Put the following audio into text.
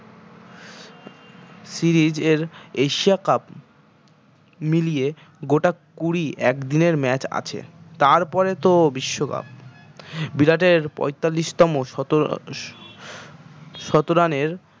series এর asia cup মিলিয়ে গোটা কুড়ি একদিনের match আছে তার পরে তো বিশ্ব cup বিরাটের পয়তাল্লিশ তম শত শত run এর